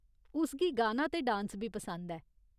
उस गी गाना ते डांस बी पसंद ऐ।